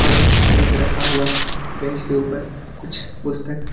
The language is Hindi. और एक बेंच रखा हुआ है बेंच के ऊपर कुछ पुस्तक--